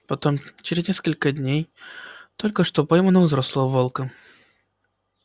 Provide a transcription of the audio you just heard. потом через несколько дней только что пойманного взрослого волка